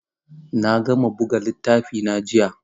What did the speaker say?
Na gama buga littafina jiya.